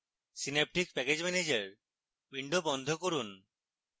synaptic package manager window বন্ধ করুন